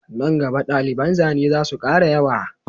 Nan gaba daliban zane zasu kara yawa